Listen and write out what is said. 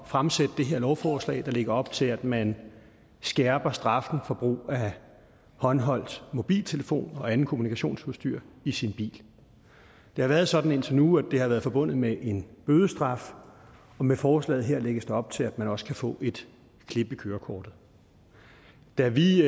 fremsætte det her lovforslag der lægger op til at man skærper straffen for brug af håndholdt mobiltelefon og anden kommunikationsudstyr i sin bil det har været sådan indtil nu at det har været forbundet med en bødestraf og med forslaget her lægges der op til at man også kan få et klip i kørekortet da vi